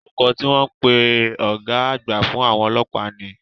Orúkọ tí wọ́n ń pè ọ̀gá àgbà fún àwọn ọlọ́pàá ni?